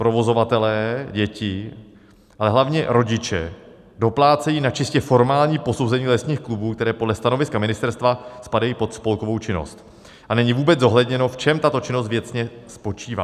Provozovatelé, děti, ale hlavně rodiče doplácejí na čistě formální posouzení lesních klubů, které podle stanoviska ministerstva spadají pod spolkovou činnost, a není vůbec zohledněno, v čem tato činnost věcně spočívá.